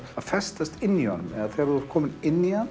festast inni í honum þegar þú ert kominn inn í hann